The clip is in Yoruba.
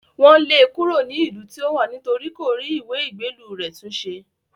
Wọ́n lé e kúrò ní ìlú tí ó wà nítorí kò rí ìwé ìgbélú rẹ̀ tún ṣe